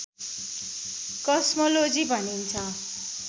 cosmology भनिन्छ